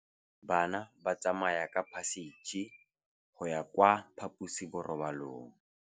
Bana ba tsamaya ka phašitshe go ya kwa phaposiborobalong.